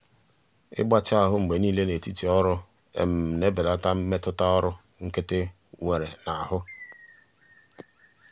ịgbatị ahụ mgbe niile n'etiti ọrụ na-ebelata mmetụta ọrụ nkịtị nwere n'ahụ.